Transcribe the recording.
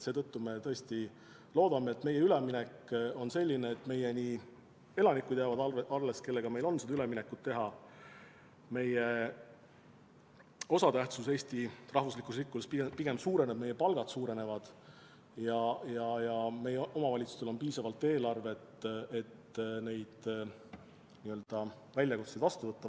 Seetõttu me tõesti loodame, et meie üleminek on selline, et jäävad alles meie elanikud, kellega me saame seda üleminekut teha, et meie osatähtsus Eesti riigi rikkuses pigem suureneb, et meie palgad suurenevad ja meie omavalitsustel on piisavalt eelarvet, et neid väljakutseid vastu võtta.